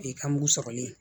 O ye kamugu sɔrɔ ye